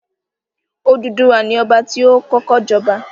Odùduwà ni Ọba ti ó kọ́kọ́ jọba